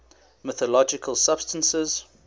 mythological substances